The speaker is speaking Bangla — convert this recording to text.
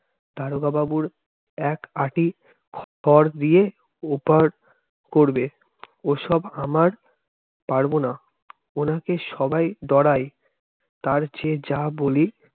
দারোগা বাবুর একআটি ঘর দিয়ে ও পার করবে। ওসব আমারা পারবো না উনাকে সবাই ডরাই তার চেয়ে যা বলি